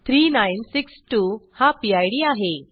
3962 हा PIDआहे